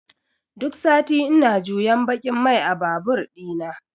duk sati ina juyan baƙin mai a babur ɗina.